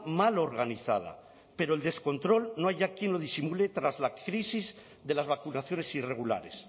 mal organizada pero el descontrol no hay ya quien lo disimule tras la crisis de las vacunaciones irregulares